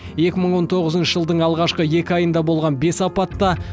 екі мың он тоғызыншы жылдың алғашқы екі айында болған бес апатта